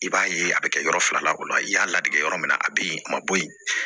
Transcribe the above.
I b'a ye a bɛ kɛ yɔrɔ fila la o la i y'a ladege yɔrɔ min na a bi a ma bɔ yen